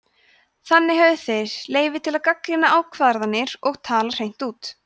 þannig höfðu þeir leyfi til að gagnrýna ákvarðanir og tala hreint út